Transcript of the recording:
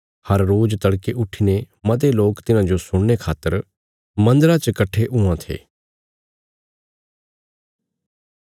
हर रोज तड़के उट्ठीने मते लोक तिन्हाजो सुणने खातर मन्दरा च कट्ठे हुआं थे